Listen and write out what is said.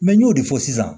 Mɛ n y'o de fɔ sisan